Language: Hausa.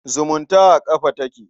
Zumunta a ƙafa take.